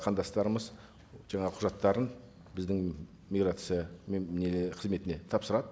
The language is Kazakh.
қандастарымыз жаңағы құжаттарын біздің миграция не қызметіне тапсырады